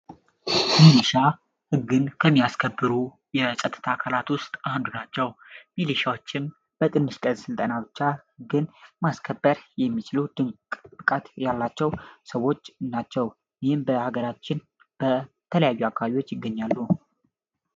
ምኒሻ ህግን ከሚያስከብሩ የጸጥታአካላት ዉስጥ አንዱ ናቸዉ። ምኒሻወችም በትንሽ ቀን ስልጠና ብቻ ግን ማስከበር የሚችሉ ድንቅ ብቃት ያላቸዉ ሰወች ናቸዉ። ይህም በሀገራችን በተለያዩ አካባቢወች ይገኛሉ።